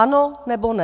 Ano, nebo ne?